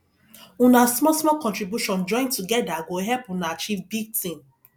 una smallsmall contribution join togeda go help una achieve big tin